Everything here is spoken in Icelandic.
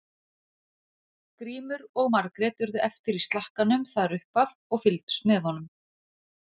Grímur og Margrét urðu eftir í slakkanum þar upp af og fylgdust með honum.